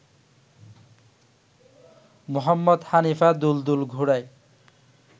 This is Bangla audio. মুহম্মদ হানিফা ‘দুলদুল’ ঘোড়ায়